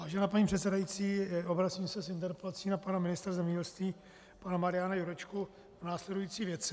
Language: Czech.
Vážená paní předsedající, obracím se s interpelací na pana ministra zemědělství, pana Mariana Jurečku, v následující věci.